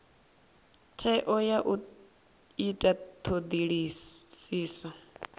tsheo ya u ita thodisiso